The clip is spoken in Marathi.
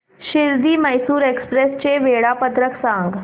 शिर्डी मैसूर एक्स्प्रेस चे वेळापत्रक सांग